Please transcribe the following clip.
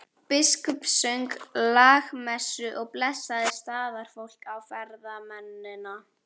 Biskup söng lágmessu og blessaði staðarfólk og ferðamennina.